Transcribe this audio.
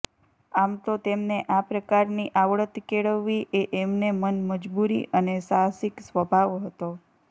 આમ તો તેમને આ પ્રકારની આવડત કેળવવી એ એમને મન મજબૂરી અને સાહસીક સ્વભાવ હતો